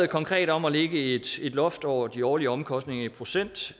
konkret om at lægge et loft over de årlige omkostninger i procent